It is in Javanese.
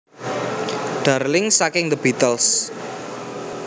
Darling saking The Beatles